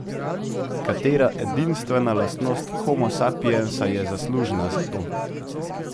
Katera edinstvena lastnost Homo sapiensa je zaslužna za to?